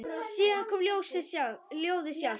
Síðan kom ljóðið sjálft: